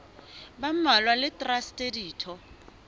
ba mmalwa le traste ditho